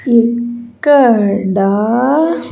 ఇక్కడా.